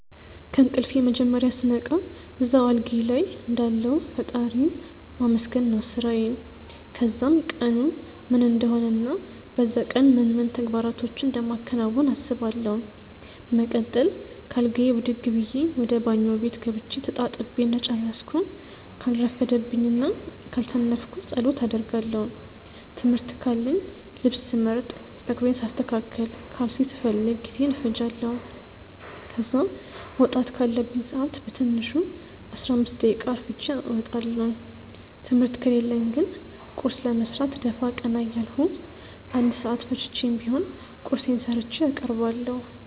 ከእንቅልፌ መጀመርያ ስነቃ እዛው አልጋዬ ልይ እንዳለሁ ፈጣሪን ማመስገን ነው ስራዬ። ከዛም ቀኑ ምን እንደሆነ እና በዛ ቀን ምን ምን ተግባራቶችን እንደማከናውን አስባለው። በመቀጠል ከአልጋዬ ብድግ ብዬ ወደ ባኞ ቤት ገብቼ ተጣጥቤ እንደጨረስኩ ካልረፈደብኝ እና ካልሰነፍኩ ጸሎት አደርጋለው። ትምህርት ካለኝ ልብስ ስመርጥ፣ ጸጉሬን ሳስተካክል፣ ካልሲ ስፈልግ ጊዜዬን እፈጃለው። ከዛ መውጣት ካለብኝ ሰአት በትንሹ 15 ደቂቃ አርፍጄ እወጣለው። ትምህርት ከሌለኝ ግን ቁርስ ለመስራት ደፋ ቀና እያልኩ 1 ሰአት ፈጅቼም ቢሆን ቁርሴን ሰርቼ አቀርባለሁ።